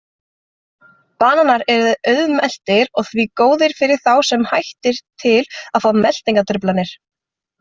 Bananar eru auðmeltir og því góðir fyrir þá sem hættir til að fá meltingartruflanir.